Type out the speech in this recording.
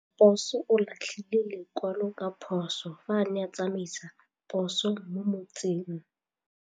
Raposo o latlhie lekwalô ka phosô fa a ne a tsamaisa poso mo motseng.